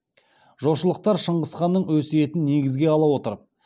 жошылықтар шыңғысханның өсиетін негізге ала отырып